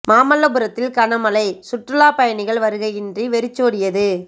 மாமல்லபுரத்தில் கன மழை சுற்றுலா பயணிகள் வருகையின்றி வெறிச் சோடியது